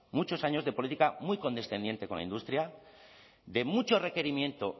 muchos años de política muy condescendiente con la industria de mucho requerimiento